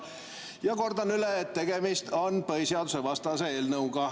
Ja kordan üle, et tegemist on põhiseadusevastase eelnõuga.